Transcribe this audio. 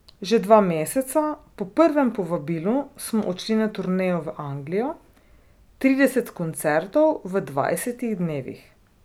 Že dva meseca po prvem povabilu smo odšli na turnejo v Anglijo, trideset koncertov v dvajsetih dnevih.